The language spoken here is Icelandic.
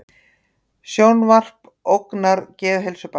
Sjónvarp ógnar geðheilsu barna